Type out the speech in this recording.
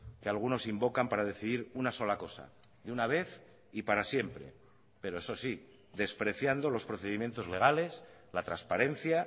que algunos invocan para decidir una sola cosa de una vez y para siempre pero eso sí despreciando los procedimientos legales la transparencia